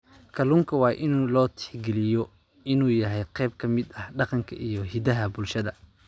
Kalluunka waa in loo tixgeliyo inuu yahay qayb ka mid ah dhaqanka iyo hiddaha bulshada.